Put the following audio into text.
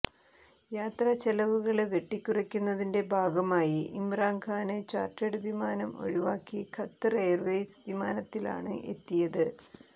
യാത്ര ചെലവുകള് വെട്ടിക്കുറയ്ക്കുന്നതിന്റെ ഭാഗമായി ഇംറാന് ഖാന് ചാര്ട്ടേഡ് വിമാനം ഒഴിവാക്കി ഖത്തര് എയര്വേയ്സ് വിമാനത്തിലാണ് എത്തിയത്